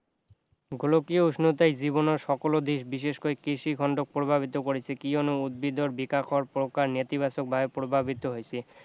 গোলকীয় উষ্ণতাই জীৱনৰ সকলো দিশ বিশেষকৈ কৃষি প্ৰভাৱিত কৰিছে কিয়নো উদ্ভিদৰ বিকাশৰ প্ৰকাৰ নেতিবাচক ভাৱে প্ৰভাৱিত হৈছে